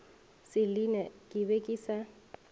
selina ke be ke sa